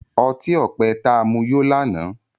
ọti-ọpẹ ta mu yó lànà.